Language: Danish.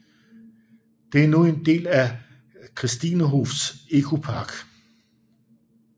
Det er nu en del af Christinehofs Ekopark